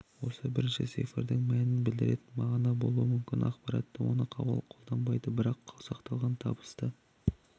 осы бірінші цифрдің мәнін білдіретін мағына болуы мүмкін ақпараттық оны қолданбайды бірақ сақталған табысты